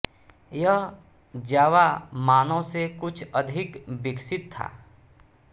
यह जावा मानव से कुछ अधिक विकसित था